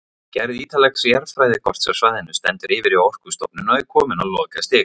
Gerð ítarlegs jarðfræðikorts af svæðinu stendur yfir hjá Orkustofnun og er komin á lokastig.